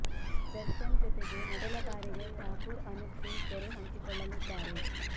ದರ್ಶನ್ ಜೊತೆಗೆ ಮೊದಲ ಬಾರಿಗೆ ಠಾಕೂರ್ ಅನೂಪ್ ಸಿಂಗ್ ತೆರೆ ಹಂಚಿಕೊಳ್ಳಲಿದ್ದಾರೆ